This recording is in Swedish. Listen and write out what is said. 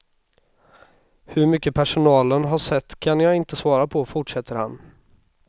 Hur mycket personalen har sett kan jag inte svara på, fortsätter han.